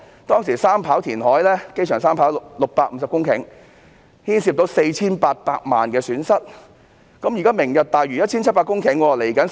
機場三跑填海工程填海650公頃，涉及 4,800 萬元損失，作出賠償也是應該的。